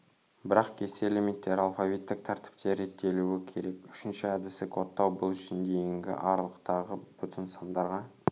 бірақ кесте элементтері алфавиттік тәртіпте реттелуі керек үшінші әдісі кодтау бұл үшін дейінгі аралықтағы бүтін сандарға